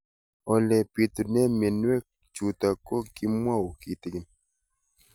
Ole pitune mionwek chutok ko kimwau kitig'�n